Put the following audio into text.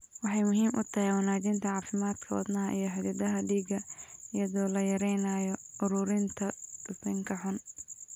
Waxay muhiim u tahay wanaajinta caafimaadka wadnaha iyo xididdada dhiigga iyadoo la yareynayo uruurinta dufanka xun.